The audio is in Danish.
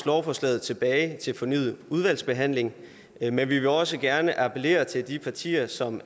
lovforslaget tilbage til fornyet udvalgsbehandling men vi vil også gerne appellere til de partier som